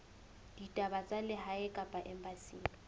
ditaba tsa lehae kapa embasing